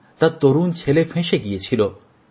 তাঁর তরুন ছেলে ফেঁসে গিয়েছিল